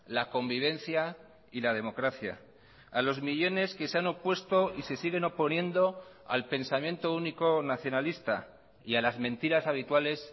la convivencia y la democracia a los millónes que se han opuesto y se siguen oponiendo al pensamiento único nacionalista y a las mentiras habituales